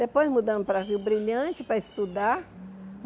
Depois mudamos para a Vila Brilhante para estudar.